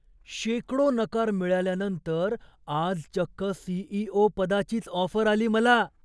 शेकडो नकार मिळाल्यानंतर आज चक्क सी.ई.ओ. पदाचीच ऑफर आली मला!